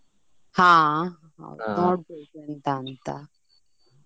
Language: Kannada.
ಹಾ ಅದೇ ನೋಡ್ಬೇಕ್ ಎಂತ ಅಂತ.